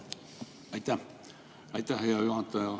Aitäh, hea juhataja!